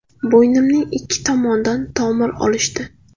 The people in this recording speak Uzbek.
Bo‘ynimning ikki tomonidan tomir olishdi.